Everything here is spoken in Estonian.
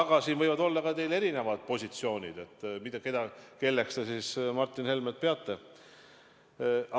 Aga siin võivad teil olla ka erinevad positsioonid, kelleks te Martin Helmet siis peate.